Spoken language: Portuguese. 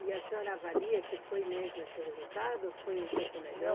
E a senhora avalia que foi mesmo esse resultado ou foi um pouco melhor?